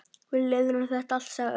Við leiðréttum þetta allt, sagði Örn.